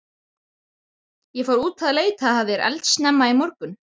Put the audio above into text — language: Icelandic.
Ég fór út að leita að þér eldsnemma í morgun.